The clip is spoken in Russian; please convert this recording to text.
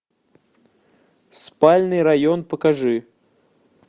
спальный район покажи